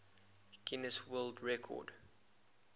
guinness world record